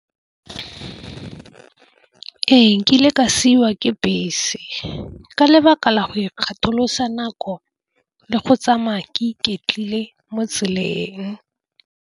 Ee, nkile ka siwa ke bese ka lebaka la go ikgatholosa nako le go tsamaya ke iketlile mo tseleng.